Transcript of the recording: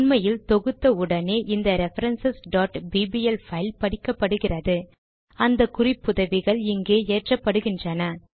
உண்மையில் தொகுத்த உடனே இந்த ரெஃபரன்ஸ் bbl பைல் படிக்கப்படுகிறது அந்த குறிப்புதவிகள் இங்கு ஏற்றப்படுகின்றன